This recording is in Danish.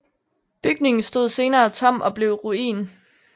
Bygningen stod senere tom og blev ruin